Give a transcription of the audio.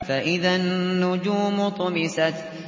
فَإِذَا النُّجُومُ طُمِسَتْ